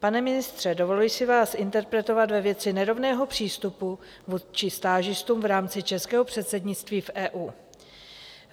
Pane ministře, dovoluji si vás interpelovat ve věci nerovného přístupu vůči stážistům v rámci českého předsednictví v EU.